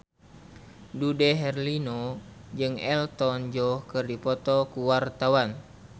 Dude Herlino jeung Elton John keur dipoto ku wartawan